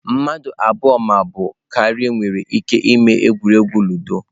mmadụ abụọ ma ọ bụ karịa nwere ike ịme egwuregwu ludo.